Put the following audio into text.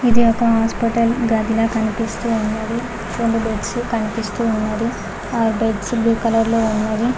ఇది ఒక హాస్పిటల్ గదిలా కనిపిస్తూ ఉన్నది రొండు బెడ్స్సు కనిపిస్తూ ఉన్నది ఆ బెడ్స్సు బ్లూ కలర్ లో ఉన్నది.